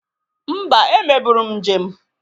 Mba, emeburu m njem.